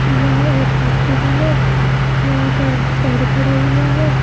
यह एक हॉस्पिटल है यहां पर पेड़ खड़े हुए हैं।